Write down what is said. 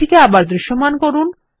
এটিকে আবার দৃশ্যমান করা